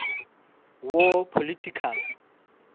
war political